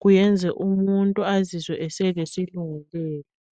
kuyenza umuntu azizwe eselesilungulela.